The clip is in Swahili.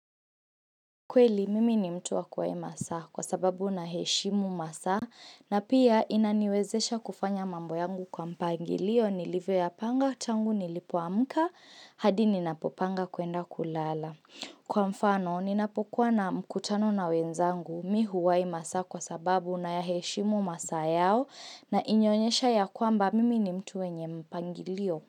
Kweli, mimi ni mtu wa kwa masaa kwa sababu naheshimu masaa na pia inaniwezesha kufanya mambo yangu kwa mpangilio nilivyoyapanga, tangu nilipoamka, hadi ninapopanga kuenda kulala. Kwa mfano, ninapokuwa na mkutano na wenzangu, mi huwai masaa kwa sababu nayaheshimu masaa yao na inaonyesha ya kwamba mimi ni mtu wenye mpangilio.